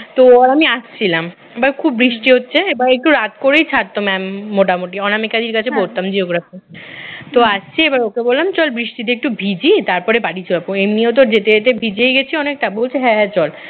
তো ও আর আমি আসছিলাম এবার খুব বৃষ্টি হচ্ছে এবার একটু রাত করেই ছাড়ত mam মোটামুটি অনামিকা দিদির কাছে পড়তাম geography তো আসছি ওকে বললাম চল বৃষ্টিতে একটু ভিজি তারপরে বাড়ি যাবো এমনিও তো বাড়ি যেতে যেতে ভিজেই গেছি অনেকটা বলছে হ্যাঁ হ্যাঁ চল